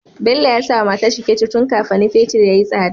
Bello yasa wa matarshi fetir tun kafani fetir yayi tsada